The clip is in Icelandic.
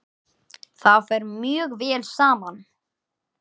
Það fer mjög vel saman.